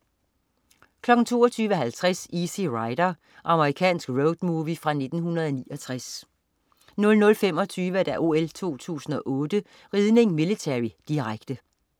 22.50 Easy Rider. Amerikansk roadmovie fra 1969 00.25 OL 2008: Ridning, millitary. Direkte